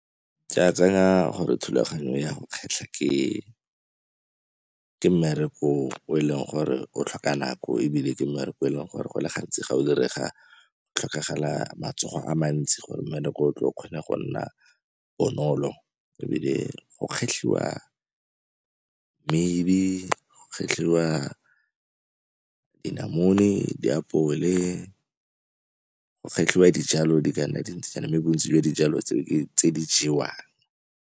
Ke a tsenya gore thulaganyo ya go kgetlha ke mmereko o e leng gore o tlhoka nako, ebile ke mmereko e leng gore go le gantsi ga o direga tlhokagala matsogo a mantsi gore mmereko o tle o kgone go nna bonolo. Ebile go kgetlhiwa mmidi, go kgetlhiwa dinamune, diapole, go kgetlhiwa dijalo di ka nna dintsinyana mme bontsi jwa dijalo tseo ke tse di jewang.